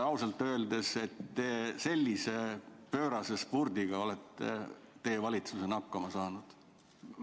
Ausalt öeldes on teie valitsus pöörase spurdiga hakkama saanud.